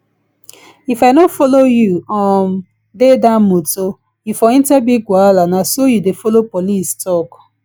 if i no follow you um dey dat motor you for enter big wahala na so you dey follow police talk um